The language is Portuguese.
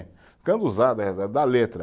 usado da letra.